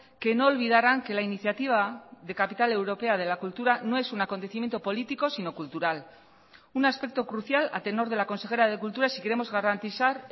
que no olvidaran que la iniciativa de capital europea de la cultura no es un acontecimiento político sino cultural un aspecto crucial a tenor de la consejera de cultura si queremos garantizar